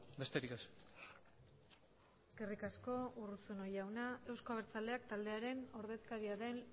besterik ez eskerrik asko urruzuno jauna euzko abertzaleak taldearen ordezkaria den